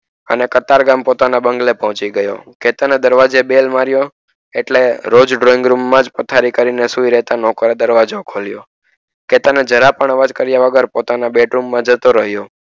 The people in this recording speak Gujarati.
અને કતારગામ પોતાના બંગલે પોચી ગયો ચેતાને દરવાજે bell મારિયો એટલે રોજ drawing room માં પથારી કરી ને સુઈ રેતા નોકરે દરવાજો ખોલીયો તેને જરાક પણ અવાજ કરીયા વગર પોતાના bed room માં જતો રહીયો.